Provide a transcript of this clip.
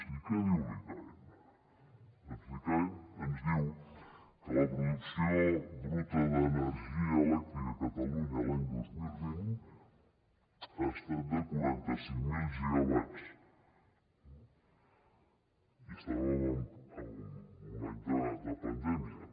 i què diu l’icaen doncs l’icaen ens diu que la producció bruta d’energia elèctrica a catalunya l’any dos mil vint ha estat de quaranta cinc mil gigawatts i estàvem en un any de pandèmia